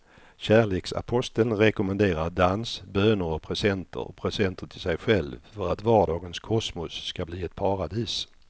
Kärleksaposteln rekommenderar dans, böner och presenter och presenter till sig själv för att vardagens kosmos ska bli ett paradis.